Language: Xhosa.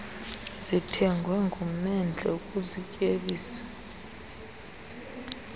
zithengwe ngumendle ukuzityebisa